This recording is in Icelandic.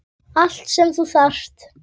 Allt sem þú þarft.